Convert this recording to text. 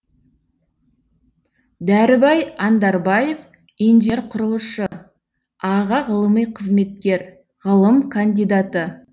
дәрібай андарбаев инжер құрылысшы аға ғылыми қызметкер ғылым кандидаты